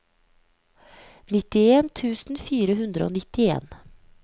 nittien tusen fire hundre og nittien